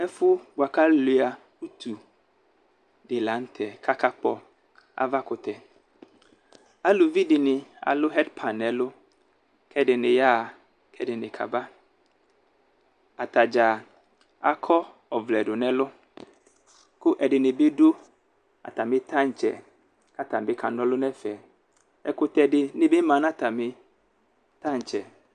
Ɛfʋ bʋakʋ aluia utu di lanʋtɛ kʋ akakpɔ avakʋtɛ alʋvi dini alʋ hɛdpan nʋ ɛlʋ kʋ ɛdini yaxa kʋ ɛdini kaba atadza akɔ ɔvlɛ dʋnʋ ɛlʋ kʋ ɛdini bi dʋ atami tantsɛ kʋ atani bi kana ɔlʋ nʋ ɛfɛ ɛkʋtɛ dini bi manʋ atami tantsɛ